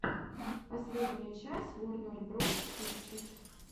последняя часть ворнер броз пикчерз